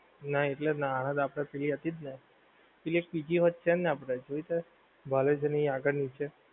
ના એટલે જ ને આને આપણે free હતી જ ને પેલી એક બીજી હોત પણ છે ને જોઈ તે college ની આગળ ની જ છે.